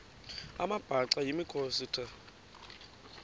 amabhaca yimikhosi the